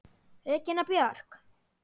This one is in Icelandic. Regína Björk!